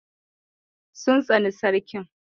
They hate the emir.